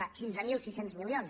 és clar quinze mil sis cents milions